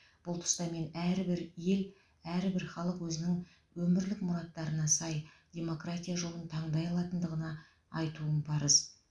бұл тұста мен әрбір ел әрбәр халық өзінің өмірлік мұраттарына сай демократия жолын таңдай алатындығына айтуым парыз